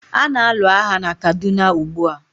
a na-alụ agha na Kaduna ugbua.